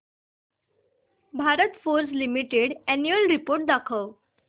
Bharat Forge Limited annual report दाखव